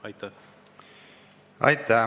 Aitäh!